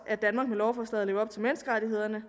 at danmark med lovforslaget lever op til menneskerettighederne